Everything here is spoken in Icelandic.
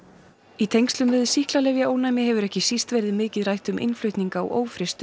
í tengslum við sýklalyfjaónæmi hefur ekki síst verið mikið rætt um innflutning á